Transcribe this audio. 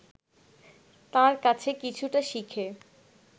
তাঁর কাছে কিছুটা শিখে